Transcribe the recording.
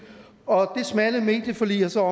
og det smalle medieforlig er så